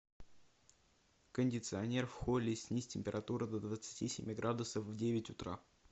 кондиционер в холле снизь температуру до двадцати семи градусов в девять утра